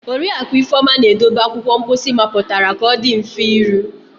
Oriakụ Ifeoma na-edobe akwụkwọ mposi mapụtara ka ọ dị mfe iru.